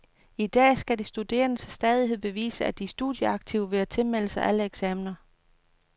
I dag skal de studerende til stadighed bevise, at de er studieaktive ved at tilmelde sig alle eksaminer.